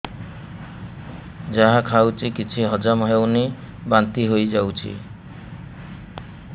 ଯାହା ଖାଉଛି କିଛି ହଜମ ହେଉନି ବାନ୍ତି ହୋଇଯାଉଛି